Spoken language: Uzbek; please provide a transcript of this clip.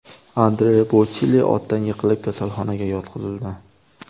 Andrea Bochelli otdan yiqilib, kasalxonaga yotqizildi.